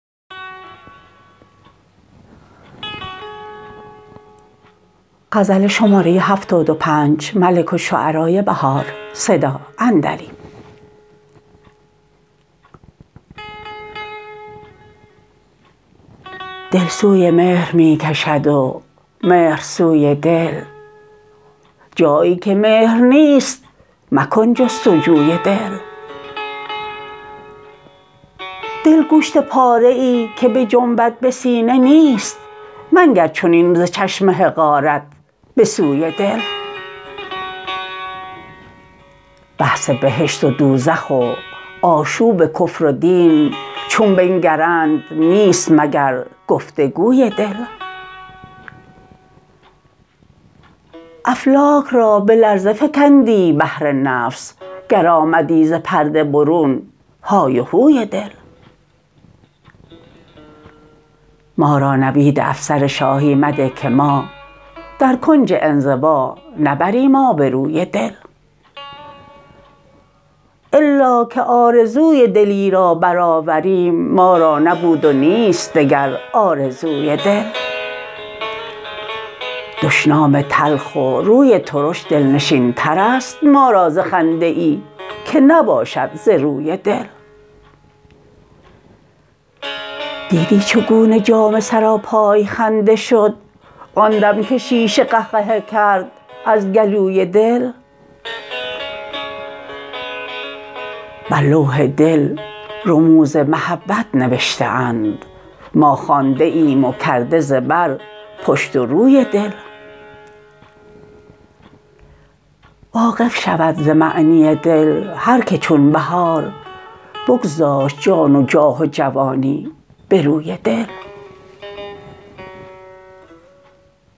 دل سوی مهر می کشد و مهر سوی دل جایی که مهر نیست مکن جستجوی دل دل گوشت پاره ای که بجنبد به سینه نیست منگر چنین ز چشم حقارت به سوی دل بحث بهشت و دوزخ و آشوب کفر و دین چون بنگرند نیست مگر گفتگوی دل افلاک را به لرزه فکندی بهر نفس گر آمدی ز پرده برون هایهوی دل ما را نوید افسر شاهی مده که ما در کنج انزوا نبریم آبروی دل الا که آرزوی دلی را برآوریم ما را نبود و نیست دگر آرزوی دل دشنام تلخ و روی ترش دلنشین ترست ما را ز خنده ای که نباشد ز روی دل دیدی چگونه جام سراپای خنده شد آن دم که شیشه قهقهه کرد از گلوی دل بر لوح دل رموز محبت نوشته اند ما خوانده ایم و کرده ز بر پشت و روی دل واقف شود ز معنی دل هرکه چون بهار بگذاشت جان و جاه و جوانی به روی دل